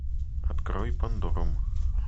открой пандорум